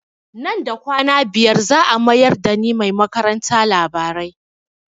Nan da kwana biyar za a mayar da ni mai karanta labarai